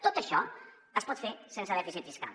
tot això es pot fer sense dèficit fiscal